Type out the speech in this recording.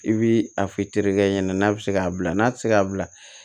I bi a f'i terikɛ ɲɛna n'a be se k'a bila n'a ti se k'a bila